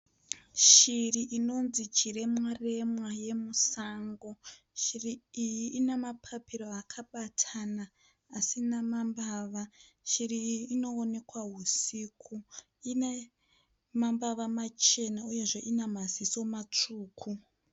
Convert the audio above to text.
Shiri inonzi chiremwa remwa yemusango. Shiri iyi ina mapiro akabatana asina mambava. Shiri iyi inoonekwa husiku. Ine mbava machena uyezve ina maziso matsvuku.